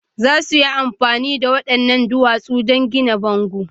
Za su yi amfani da waɗannan duwatsun don gina bango